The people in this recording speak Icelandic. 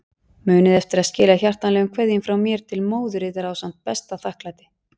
Munið eftir að skila hjartanlegum kveðjum frá mér til móður yðar ásamt besta þakklæti.